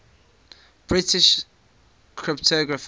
british cryptographers